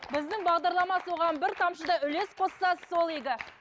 біздің бағдарлама соған бір тамшы да үлес қосса сол игі